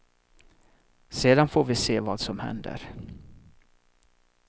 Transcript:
Sedan får vi se vad som händer.